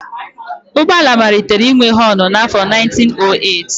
Ụgbọ ala malitere inwe họnụ n'afọ 1908